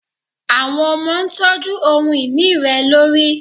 Awọn ọmọ ntọju ohun-ini rẹ lori